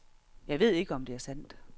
Jeg ved ikke, om det er sandt.